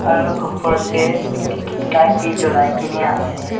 aru opor tey light bi jolai kena ase.